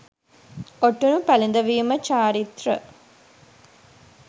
ඔටුනු පැළඳවීම චාරිත්‍ර